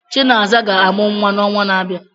Chinasa ga-amụ nwa n'ọnwa na-abịa.